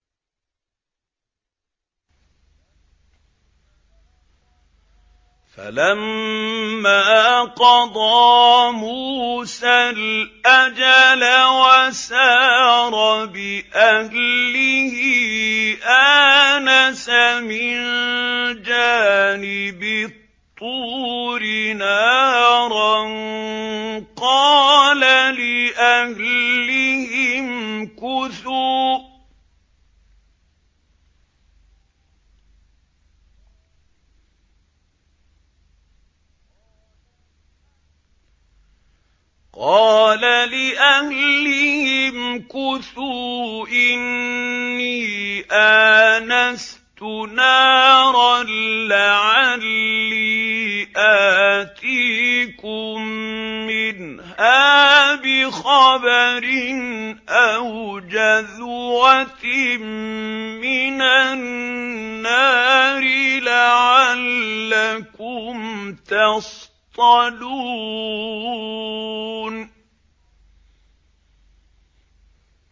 ۞ فَلَمَّا قَضَىٰ مُوسَى الْأَجَلَ وَسَارَ بِأَهْلِهِ آنَسَ مِن جَانِبِ الطُّورِ نَارًا قَالَ لِأَهْلِهِ امْكُثُوا إِنِّي آنَسْتُ نَارًا لَّعَلِّي آتِيكُم مِّنْهَا بِخَبَرٍ أَوْ جَذْوَةٍ مِّنَ النَّارِ لَعَلَّكُمْ تَصْطَلُونَ